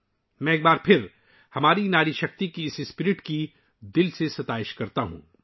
میں ایک بار پھر اپنی ناری شکتی کے اس جذبے کی تہہ دل سے ستائش کرتا ہوں